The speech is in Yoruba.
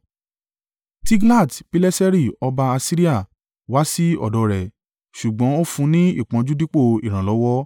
Tiglat-Pileseri ọba Asiria wá sí ọ̀dọ̀ rẹ̀, ṣùgbọ́n ó fún ní ìpọ́njú dípò ìrànlọ́wọ́.